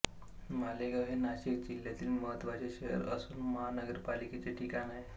मालेगाव हे नाशिक जिल्ह्यातिल मह्त्वाचे शहर असुन महानगरपालिकेचे ठिकाण आहे